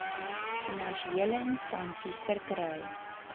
finansiële instansies verkry